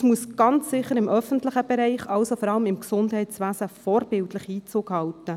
Es muss ganz sicher im öffentlichen Bereich, vor allem in Gesundheitswesen, vorbildlich Einzug halten.